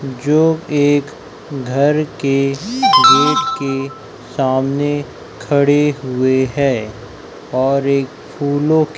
जो एक घर के गेट के सामने खड़े हुए है और एक फूलों--